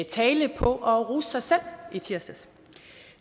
tale på at rose sig selv i tirsdags